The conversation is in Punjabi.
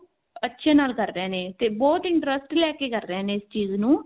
ਅੱਛੇ ਨਾਲ ਕਰ ਰਹੇ ਨੇ ਤੇ ਬਹੁਤ interest ਲੈਕੇ ਕਰ ਰਹੇ ਨੇ ਇਸ ਚੀਜ਼ ਨੂੰ